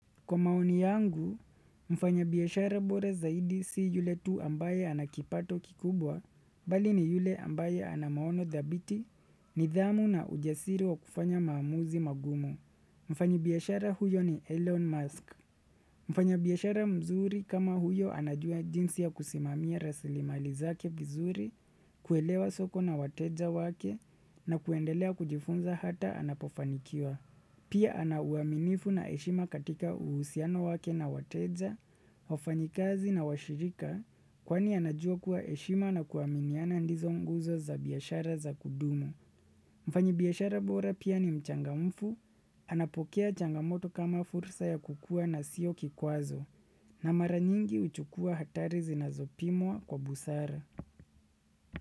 Kwa maoni yangu, mfanya biashara bora zaidi si yule tu ambaye ana kipato kikubwa, bali ni yule ambaye ana maono dhabiti, nidhamu na ujasiri wa kufanya maamuzi magumu. Mfanyi biashara huyo ni Elon Musk. Mfanyi biashara mzuri kama huyo anajua jinsi ya kusimamia rasilimali zake vizuri, kuelewa soko na wateja wake, na kuendelea kujifunza hata anapofanikiwa. Pia ana uaminifu na heshima katika uhusiano wake na wateja, wafanyikazi na washirika kwani anajua kuwa heshima na kuaminiana ndizo nguzo za biashara za kudumu. Mfanyi biashara bora pia ni mchangamfu, anapokea changamoto kama fursa ya kukuwa na sio kikwazo. Na mara nyingi huchukua hatari zinazopimwa kwa busara.